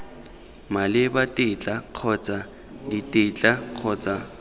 maleba tetla kgotsa ditetla kgotsa